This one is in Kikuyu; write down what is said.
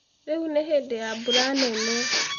Rĩu nĩ hĩndĩ ya mbura nene.